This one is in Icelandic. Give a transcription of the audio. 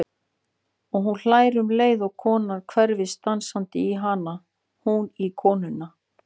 Og hún hlær um leið og konan hverfist dansandi í hana, hún í konuna.